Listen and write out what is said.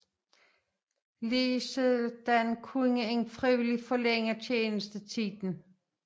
Ligeledes kunne man frivilligt forlænge tjenestetiden